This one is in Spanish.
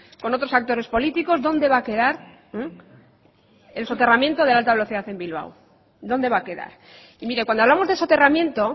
con otros actores políticos dónde va a quedar el soterramiento de la alta velocidad en bilbao dónde va a quedar y mire cuando hablamos de soterramiento